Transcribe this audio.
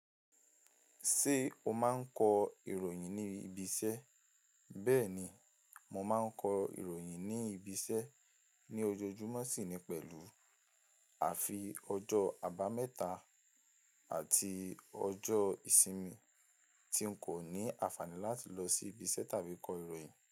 Ṣé o máa ń kọ ìròyìn ní ibi iṣẹ́? Bẹ́ẹ̀ni, mo máa ń kọ ìròyìn ní ibi iṣẹ́ ní ojoojúmọ́ sì ni pẹ̀lú àfi ọjọ́ àbámẹ́ta àti ọjọ́ ìsinmi tí ń kò ní àǹfààní láti lọ sí ibi iṣẹ́ tàbí kọ ìròyìn.